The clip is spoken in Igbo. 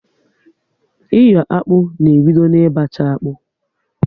Iyo akpụ na ebido na ị bacha akpụ